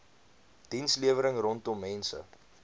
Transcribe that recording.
dienslewering rondom mense